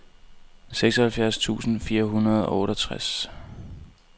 syvoghalvfjerds tusind fire hundrede og otteogtres